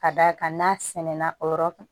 Ka d'a kan n'a sɛnɛnna o yɔrɔ kan